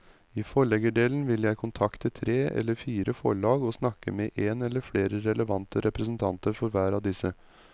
I forleggerdelen vil jeg kontakte tre eller fire forlag og snakke med en eller flere relevante representanter for hver av disse.